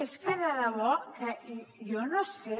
és que de debò que jo no sé